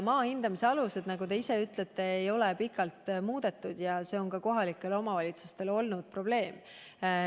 Maa hindamise aluseid ei ole pikalt muudetud, nagu te ise ütlesite, ja see on kohalikele omavalitsustele olnud probleem.